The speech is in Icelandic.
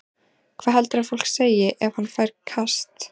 Hvað heldurðu að fólk segi ef hann fær kast?